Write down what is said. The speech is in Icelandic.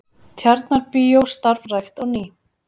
Tjarnarbíó starfrækt á ný